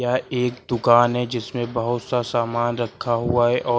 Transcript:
यह एक दुकान है जिसमें बहुत सा सामान रखा हुआ है और--